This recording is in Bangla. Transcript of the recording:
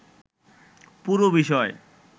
পুরো বিষয়